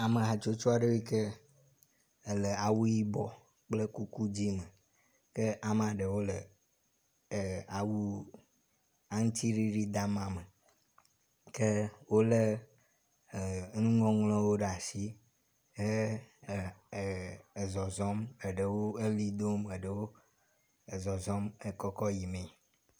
Ame hatsotso aɖe yike ele awu yibɔ kple kuku dzi me ke amea ɖewo le awu aŋtsiɖiɖi dama me ke wo le e enuŋɔŋlɔwo ɖe asi ehe e e ezɔzɔm eɖewo eʋli dom eɖewo ezɔzɔm ekɔkɔ yi mee.